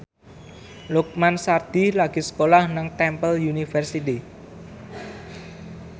Lukman Sardi lagi sekolah nang Temple University